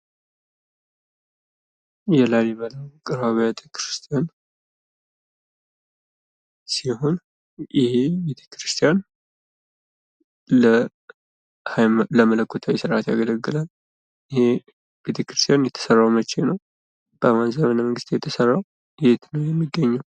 የላሊበላ ውቅር አብያተ ክርስቲያን ሲሆን ይሄ ቤተክርስቲያን ለመለኮታዊ ስርአት ያገለግላል። ይህም ቤተክርስቲያን የተሰራውም መቼ ነው? በማን ዘመነ መንግስት ነው የተሰራው? የት ነው የሚገኘው?